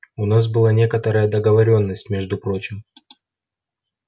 у нас была некоторая договорённость между прочим